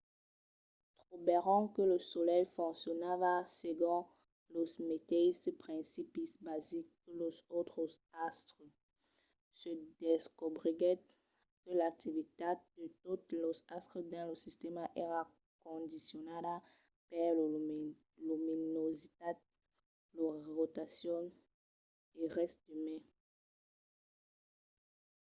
trobèron que lo solelh foncionava segon los meteisses principis basics que los autres astres: se descobriguèt que l’activitat de totes los astres dins lo sistèma èra condicionada per lor luminositat lor rotacion e res de mai